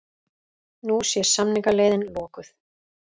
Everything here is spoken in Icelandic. Nú sé samningaleiðin lokuð